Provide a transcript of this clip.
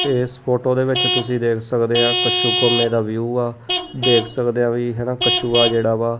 ਏਸ ਫੋਟੋ ਦੇ ਵਿੱਚ ਤੁਸੀਂ ਦੇਖ ਸਕਦੇ ਆ ਕਸ਼ੂਕੰਮੇ ਦਾ ਵਿਊ ਐ ਦੇਖ ਸਕਦੇ ਆ ਵੀ ਹਨਾ ਕਛੂਆ ਜਿਹੜਾ ਵਾ--